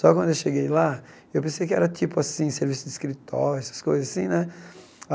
Só que quando eu cheguei lá, eu pensei que era tipo assim, serviço de escritório, essas coisas assim, né?